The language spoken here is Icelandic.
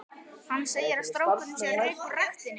Hann segir að strákurinn sé að reka úr ræktinni.